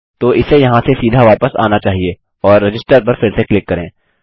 तो इसे यहाँ से सीधा वापस आना चाहिए और रजिस्टर पर फिर से क्लिक करें